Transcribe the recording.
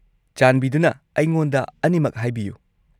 -ꯆꯥꯟꯕꯤꯗꯨꯅ ꯑꯩꯉꯣꯟꯗ ꯑꯅꯤꯃꯛ ꯍꯥꯏꯕꯤꯌꯨ꯫